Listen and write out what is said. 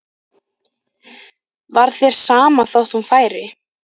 Var þér sama þótt hún færi?